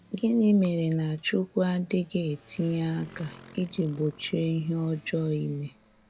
Gínị́ méré na Chúkwú adịghị etinye aka íjì gbochie ihe ọjọọ́ ímé?